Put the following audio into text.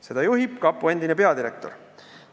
Seda juhib kapo endine peadirektor.